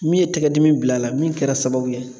Min ye tɛgɛdimi bila a la min kɛra sababu ye